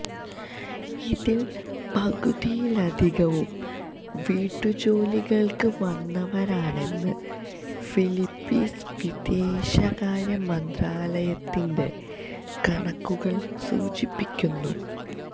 ഇതില് പകുതിയിലധികവും വീട്ടുജോലികള്ക്ക് വന്നവരാണെന്ന് ഫിലിപ്പീന് വിദേശകാര്യമന്ത്രാലയത്തിന്റെ കണക്കുകള് സൂചിപ്പിക്കുന്നു